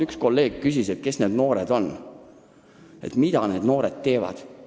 Üks kolleeg küsis, kes need noored on, mida need noored teevad.